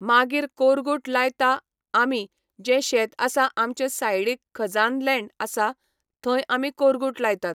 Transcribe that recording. मागीर कोरगूट लायता आमी जें शेत आसा आमचें सायडीक खजान लँड आसा, थंय आमी कोरगूट लायतात.